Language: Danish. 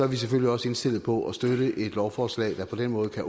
vi selvfølgelig også indstillet på at støtte et lovforslag der på den måde kan